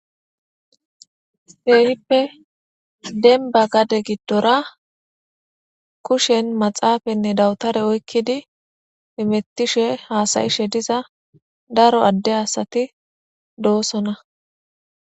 keehippe denba gade giddora kushen maxaafanne dawutare oykkidi imettishe haasayishe diza daro adde asati doosona.